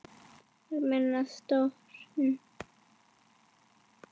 Almenn stjórn.